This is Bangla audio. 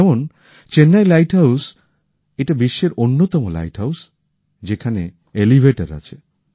যেমন চেন্নাই লাইট হাউস এটা বিশ্বের অন্যতম লাইট হাউস যেখানে এলিভেটর আছে